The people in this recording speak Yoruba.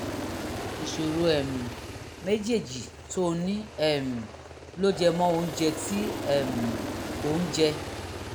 ìṣòro um méjèèjì tó o ní um ló jẹ mọ́ oúnjẹ tí um ò ń jẹ